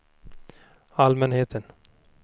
allmänheten